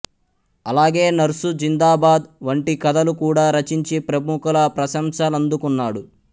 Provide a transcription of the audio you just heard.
అలాగే నర్సు జిందాబాద్ వంటి కథలు కూడా రచించి ప్రముఖుల ప్రశంసలందుకున్నాడు